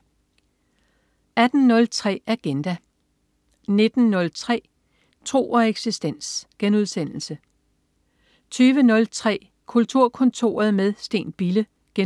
18.03 Agenda 19.03 Tro og eksistens* 20.03 Kulturkontoret med Steen Bille* 21.30